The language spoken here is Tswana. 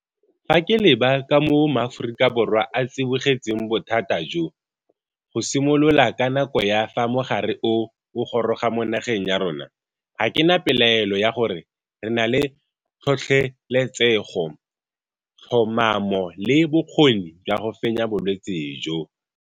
Fa ke leba ka moo Maaforika Borwa a tsibogetseng bothata jo, go simolola ka nako ya fa mogare o o goroga mo nageng ya rona, ga ke na pelaelo ya gore re na le tlhotlheletsego, tlhomamo le bokgoni jwa go fenya bolwetse jo.